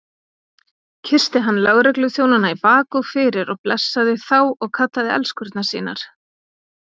Kyssti hann lögregluþjónana í bak og fyrir og blessaði þá og kallaði elskurnar sínar.